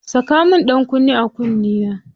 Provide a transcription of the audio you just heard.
Saka min ɗankunne a kunnena.